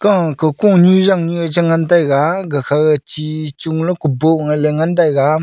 oh koko ni jang niye che ngan chega gakha chi chung le gubong ele ngan taiga.